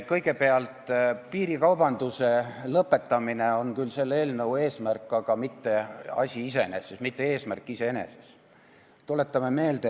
Kõigepealt, piirikaubanduse lõpetamine on küll selle eelnõu eesmärk, aga see pole mitte asi iseeneses, mitte eesmärk iseeneses.